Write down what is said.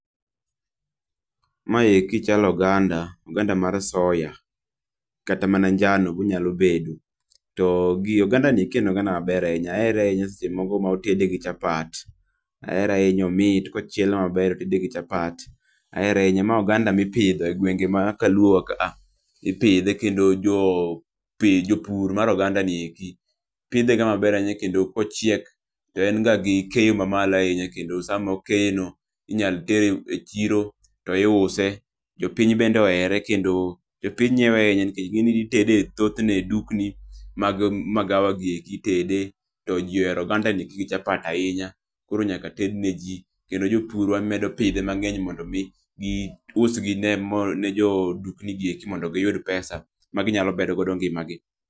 Ma eki chalo oganda, oganda mar soya kata mana njao be onyalo bedo to oganda kendo en oganda ma ber ahinya ahere ahinya seche moko ma otede gi chapat ahere ahinya bomit ka ochiele ma ber ma otede gi chapat ahere ahinya. Ma oganda mi ipidho e gwenfge ma kaluo wa kaa ipidhe kendo jopur mar oganda ni eki pidhe ga maber kendo ka ochiek to en ga gi keyo ma malo kendo sa ma okeyo no inya tere e chiro to to iuse ,jopiny bende ohere kendo jopiny ngiewe ahinya nikech ing'e ni itede thoth ne e dukni mag magawa gi eki itede to ji ohero oganda ni gi chapat ahinya koro nyaka tedne ji kendo jopurwa medo pidhe mang'eny mondo mi gi usne jodukni gi eki mondo gi yud pesa ma gi nya medo ngima gi